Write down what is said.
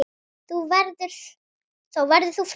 Þá verður þú frjáls.